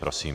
Prosím.